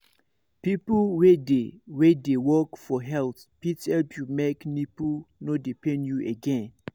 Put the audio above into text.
people wey dey wey dey work for health fit help you make nipple no dey pain you again